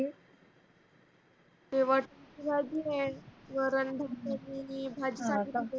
ते वटाने ची भाजी है वरण भात